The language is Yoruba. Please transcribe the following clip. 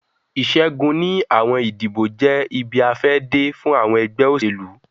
Iṣẹgun ni awọn idibo jẹ ibi-afẹde fun awọn ẹgbẹ oselu.